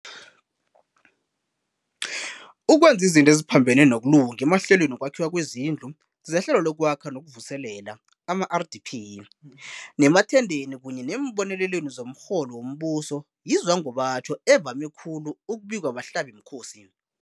Ukwenza izinto eziphambene nokulunga emahlelweni wokwakhiwa kwezindlu, zeHlelo lokwAkha nokuVuselela, ama-RDP, nemathendeni kunye neembonelelweni zomrholo wombuso yizwangobatjho evame khulu ukubikwa bahlabimkhosi.